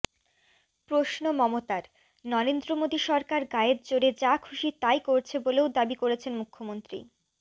প্রশ্ন মমতার নরেন্দ্র মোদী সরকার গায়ের জোরে যা খুশি তাই করছে বলেও দাবি করেছেন মুখ্যমন্ত্রী